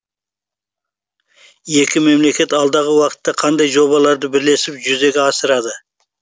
екі мемлекет алдағы уақытта қандай жобаларды бірлесіп жүзеге асырады